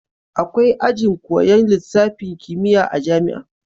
Akwai ajin koyan lisafin kimiya a jamia